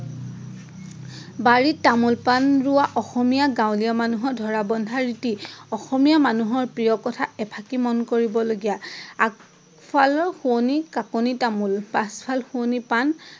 বাৰিত তামোল পাণ ৰোৱা অসমীয়া মানুহৰ ধৰা বন্ধা ৰীতি। অসমীয়া মানুহৰ প্ৰিয় কথা এফাকি মন কৰিব লগীয়া আগ ফাল সোৱনি কাকণি তামোল পাছ ফাল শুৱনি পাণ।